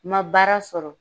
N ma baara sɔrɔ